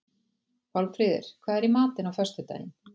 Pálmfríður, hvað er í matinn á föstudaginn?